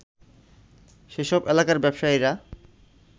সেসব এলাকার ব্যবসায়ীরা